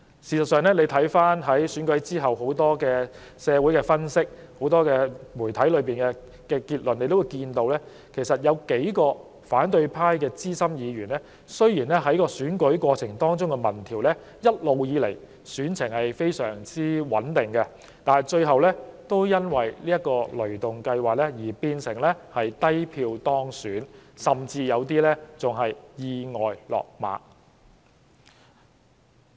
事實上，大家看到在選舉後，社會上和媒體中很多分析均指出，在選舉過程中的民調顯示，有數名反對派資深議員的選情一直相當穩定，但他們最後卻因為"雷動計劃"變成低票當選，有些甚至意外"落馬"。